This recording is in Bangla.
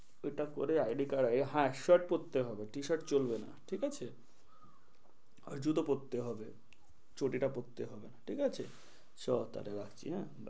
এটা করে id card হ্যাঁ shirt পরতে হবে t-shirt চলবে না ঠিক আছে, জুতো পরতে হবে চটি টা পরতে হবে না ঠিক আছে, চো তাহলে রাখি হম